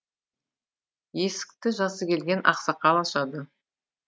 есікті жасы келген ақсақал ашады